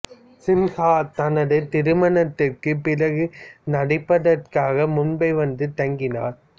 சின்ஹா தனது திருமணத்திற்குப் பிறகு நடிப்பதற்காக மும்பை வந்து தங்கினார்